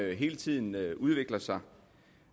hele tiden udvikler sig